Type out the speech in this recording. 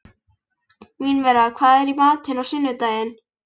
Mínerva, hvað er í matinn á sunnudaginn?